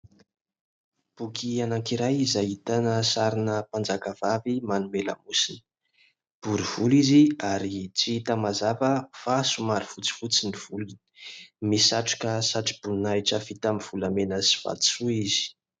Boky anankiray izay ahitana sarina mpanjaka vavy manome lamosina, bory volo izy ary tsy hita mazava fa somary fotsifotsy ny volony. Misatroka satroboninahitra vita amin'ny volamena sy vatosoa izy.